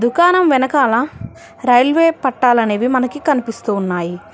దుకాణం వెనకాల రైల్వే పట్టాలనేవి మనకి కనిపిస్తున్నాయి.